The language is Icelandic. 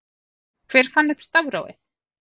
Hver fann upp stafrófið?